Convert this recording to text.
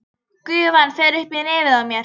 Gufan fer upp í nefið á mér.